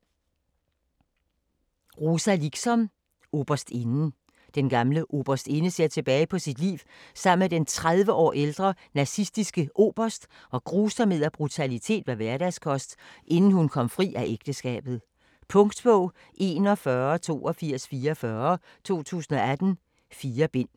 Liksom, Rosa: Oberstinden Den gamle Oberstinde ser tilbage på sit liv sammen med den 30 år ældre nazistiske Oberst, hvor grusomhed og brutalitet var hverdagskost, inden hun kom fri af ægteskabet. Punktbog 418244 2018. 4 bind.